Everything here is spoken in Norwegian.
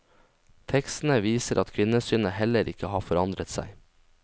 Tekstene viser at kvinnesynet heller ikke har forandret seg.